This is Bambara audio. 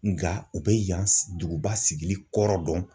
Nga u bɛ yan duguba sigili kɔrɔ dɔn.